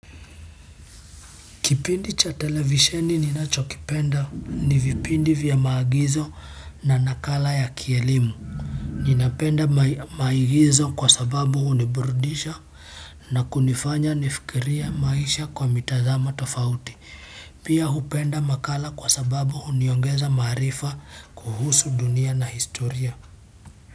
Kipindi cha televisheni ninachokipenda ni vipindi vya maagizo na nakala ya kielimu. Ninapenda maigizo kwa sababu huniburudisha na kunifanya nifikirie maisha kwa mitazamo tofauti. Pia hupenda makala kwa sababu huniongeza maarifa kuhusu dunia na historia.